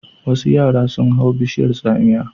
Wasu yara sun hau bishiyar tsamiya.